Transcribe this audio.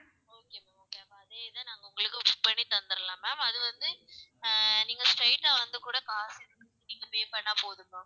ma'am அதே தான் உங்களுக்கும் book பண்ணி தந்திடலாம் ma'am அது வந்து ஆஹ் நீங்க straight டா வந்து கூட காசு நீங்க pay பண்ணுனா போதும் ma'am.